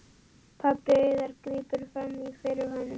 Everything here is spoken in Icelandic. Pabbi Auðar grípur fram í fyrir honum.